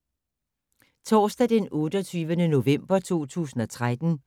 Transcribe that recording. Torsdag d. 28. november 2013